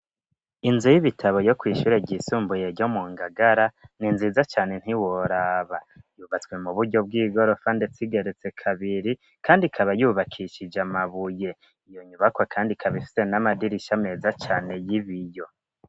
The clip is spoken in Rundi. Inzu y'ibitabo yo kw'ishure ryisumbuye ryo mu ngagara ni nziza cane ntiworaba, yubatswe mu buryo bw'igorofa ndetse igeretse kabiri kandi ikaba yubakishije amabuye. Iyo nyubakwa kandi ikaba ifise n'amadirisha meza cane y'ibiyo.